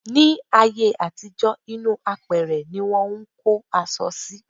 Ní ayé àtijọ́, inú apẹ̀rẹ̀ ní wọ́n ń kó aṣọ sí.